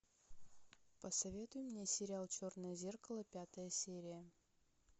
посоветуй мне сериал черное зеркало пятая серия